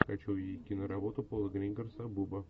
хочу увидеть киноработу пола гринграсса буба